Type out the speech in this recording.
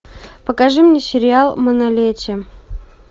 покажи мне сериал манолете